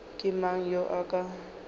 ke mang yo a ka